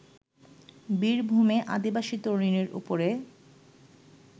বীরভূমে আদিবাসী তরুণীর ওপরে